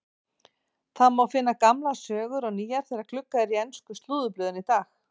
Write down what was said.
Það má finna gamlar sögur og nýjar þegar gluggað er í ensku slúðurblöðin í dag.